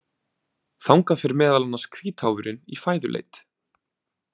Þangað fer meðal annars hvítháfurinn í fæðuleit.